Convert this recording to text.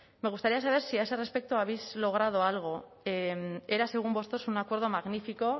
me gustaría saber si a ese respecto habéis logrado algo era según vosotros un acuerdo magnífico